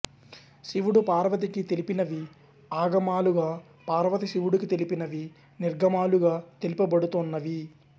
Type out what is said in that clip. శివుడు పార్వతికి తెలిపినవి ఆగమాలుగా పార్వతి శివుడికి తెలిపినవి నిర్గమాలుగా తెలుపబడుతోన్నవి